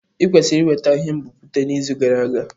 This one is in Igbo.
I kwesiri iweta ihe nbipute n'izu gara aga!